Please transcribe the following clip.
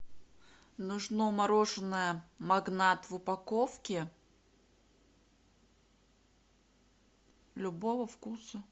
нужно мороженое магнат в упаковке любого вкуса